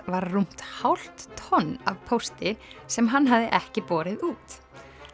var rúmt hálf tonn af pósti sem hann hafði ekki borið út